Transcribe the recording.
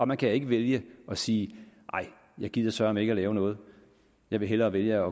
man kan ikke vælge at sige nej jeg gider søreme ikke at lave noget jeg vil hellere vælge